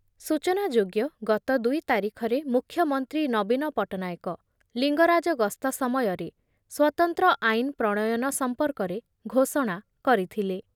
ସୂଚନାଯୋଗ୍ୟ ଗତ ଦୁଇ ତାରିଖରେ ମୁଖ୍ୟମନ୍ତ୍ରୀ ନବୀନ ପଟ୍ଟନାୟକ ଲିଙ୍ଗରାଜ ଗସ୍ତ ସମୟରେ ସ୍ଵତନ୍ତ୍ର ଆଇନ୍ ପ୍ରଣୟନ ସମ୍ପର୍କରେ ଘୋଷଣା କରିଥିଲେ।